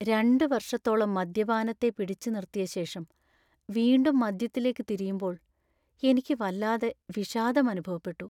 രണ്ട് വർഷത്തോളം മദ്യപാനത്തെ പിടിച്ച് നിർത്തിയ ശേഷം വീണ്ടും മദ്യത്തിലേക്ക് തിരിയുമ്പോൾ എനിക്ക് വല്ലാതെ വിഷാദം അനുഭവപ്പെട്ടു.